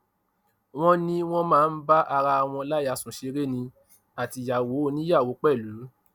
wọn ní wọn máa ń bá ara wọn láyà sùn ṣeré ní àtìyàwó oníyàwó pẹlú